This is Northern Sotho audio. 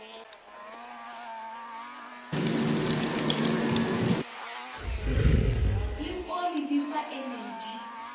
le oli di fa energy